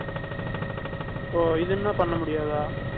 ஓ, இது என்ன பண்ண முடியாதா?